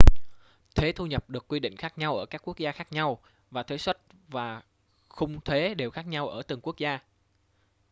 thuế thu nhập được quy định khác nhau ở các quốc gia khác nhau và thuế suất và khung thuế đều khác nhau ở từng quốc gia